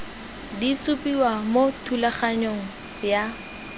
di supiwa mo thulaganyong ya